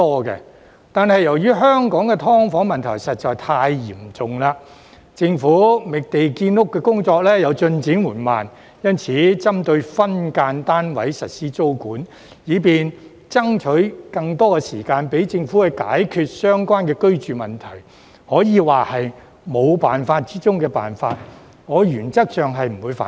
然而，由於香港的"劏房"問題實在太嚴重，政府覓地建屋的工作又進展緩慢，所以針對分間單位實施租管，以便爭取更多時間讓政府解決相關居住問題，可以說是沒有辦法中的辦法，我原則上不反對。